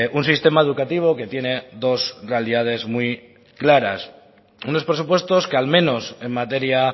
un sistema educativo que tiene dos realidades muy claras unos presupuestos que al menos en materia